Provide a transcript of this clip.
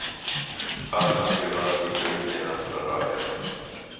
Fötterna skulle bara sticka ut nedanför och röja mig.